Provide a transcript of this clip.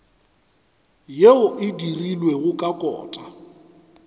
yeo e dirilwego ka kota